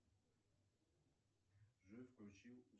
джой включи